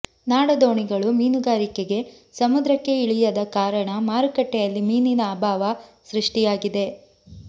ನಾಡ ದೋಣಿಗಳು ಮೀನುಗಾರಿಕೆಗೆ ಸಮುದ್ರಕ್ಕೆ ಇಳಿಯದ ಕಾರಣ ಮಾರುಕಟ್ಟೆಯಲ್ಲಿ ಮೀನಿನ ಅಭಾವ ಸೃಷ್ಟಿಯಾಗಿದೆ